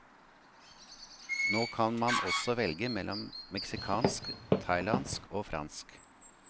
Nå kan man også velge mellom meksikansk, thailandsk og fransk.